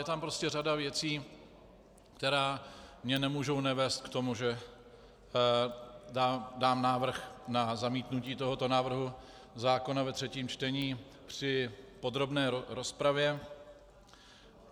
Je tam prostě řada věcí, které mě nemohou nevést k tomu, že dám návrh na zamítnutí tohoto návrhu zákona ve třetím čtení při podrobné rozpravě.